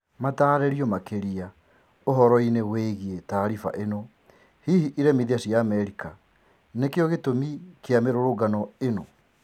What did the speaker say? Mataririo makiria uhoro-ini wigii taariba ino hihi iremithia cia Amerika nikio gitũmi kia mirũrũngano ino?